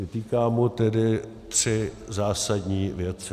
Vytýkám mu tedy tři zásadní věci.